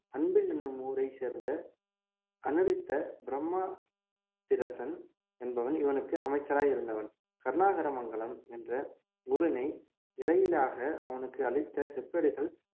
அன்பில் என்னும் ஊரை சேர்ந்த அநிருத்த பிரம்மா திரசன் என்பவன் இவனுக்கு அமைச்சராய் இருந்தவன் கருணாகரமங்கலம் என்ற ஊரினை இறையிலியாக அவனுக்கு அளித்த செப்பேடுகள்